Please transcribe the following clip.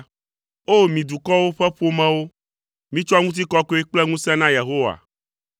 O! Mi dukɔwo ƒe ƒomewo, mitsɔ ŋutikɔkɔe kple ŋusẽ na Yehowa.